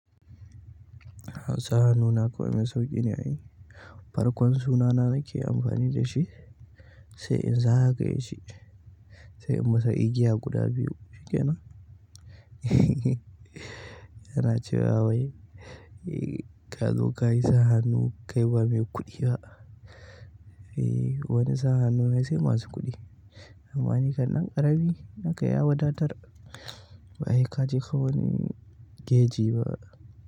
Sahanu na kuwa mai sauƙi ne a ai. Farkon sunana na ke amfani da shi sai in zagayeshi sai in masa igiya guda biyu shikenan. Yana cewa wai, ee, ka zo ka yi sahanu kai ba mai kuɗi ba. Ee, wani sa hanu na sai masu kuɗi. Amma ni kan ɗan ƙarami nakan ya wadatar ba heka je fa wani geji ba.